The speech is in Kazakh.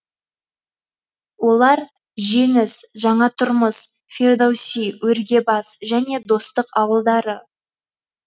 олар жеңіс жаңатұрмыс фирдоуси өргебас және достық ауылдары